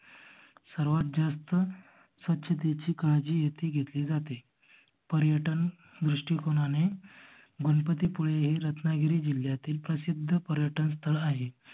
सर्वात जास्त स्वच्छतेची काळजी येथे घेतली जाते. पर्यटन दृस्टिकोणाने गणपती पुळे हे रत्नागिरी जिल्ह्यातील प्रसिद्ध पर्यटन स्थळ आहे.